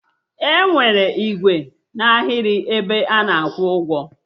Enwere ikwu n'aghịrị 'ebe ana akwụ ụgwọ